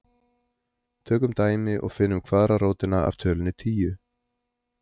tökum dæmi og finnum kvaðratrótina af tölunni tíu